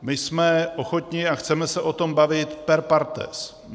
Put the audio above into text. My jsme ochotni a chceme se o tom bavit per partes.